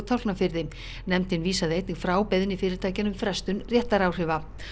Tálknafirði nefndin vísaði einnig frá beiðni fyrirtækjanna um frestun réttaráhrifa